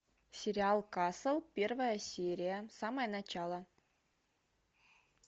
сериал касл первая серия самое начало